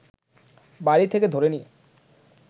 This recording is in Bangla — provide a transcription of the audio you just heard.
বাড়ি থেকে ধরে নিয়ে